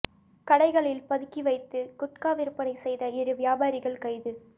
கடைகளில் பதுக்கி வைத்து குட்கா விற்பனை செய்த இரு வியாபாரிகள் கைது